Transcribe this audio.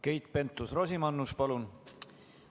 Keit Pentus-Rosimannus, palun!